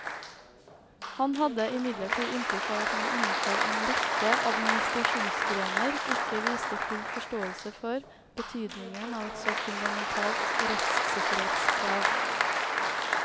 Han hadde imidlertid inntrykk av at man innenfor en rekke administrasjonsgrener ikke viste full forståelse for betydningen av et så fundamentalt rettssikkerhetskrav.